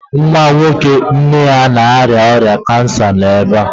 Nwa nwoke nne ya na-arịa ọrịa kansa nọ ebe a